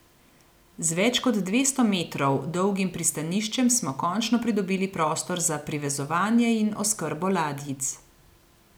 Z več kot dvesto metrov dolgim pristaniščem smo končno pridobili prostor za privezovanje in oskrbo ladjic.